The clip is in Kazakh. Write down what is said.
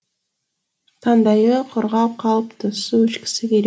таңдайы құрғап қалыпты су ішкісі келіп